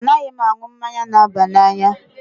Mba, a naghị m aṅu mmanya n'aba n'anya